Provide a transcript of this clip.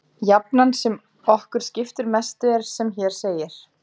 Jafnan sem okkur skiptir mestu er sem hér segir: